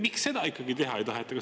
Miks seda ikkagi teha ei taheta?